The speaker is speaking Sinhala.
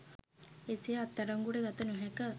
එසේ අත්අඩංගුවට ගත නොහැක